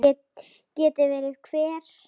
Geti verið hver?